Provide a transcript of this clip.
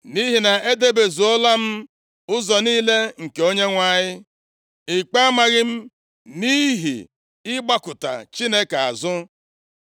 Nʼihi na edebezuola m ụzọ niile nke Onyenwe anyị; ikpe amaghị m nʼihi ịgbakụta Chineke azụ.